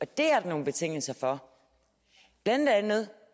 det er der nogle betingelser for blandt andet